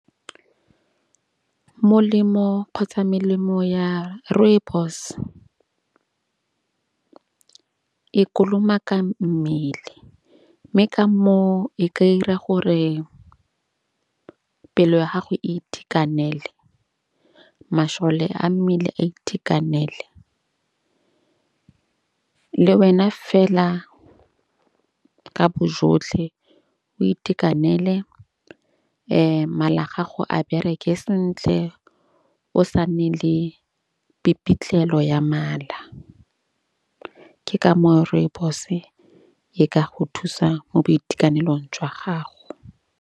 Molemo kgotsa melemo ya rooibos, e kolomaka mmele. Mme ka moo e ka 'ira gore pelo ya gago e itekanele. Mašole a mmele a itekanele le wena fela ka bo jotlhe o itekanele. Mala a gago a bereke sentle o sa nne le pipitlelo ya mala. Ke ka moo Rooibos-e e ka go thusa mo boitekanelong jwa gago.